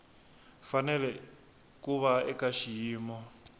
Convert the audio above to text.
fanele ku va eka xiyimo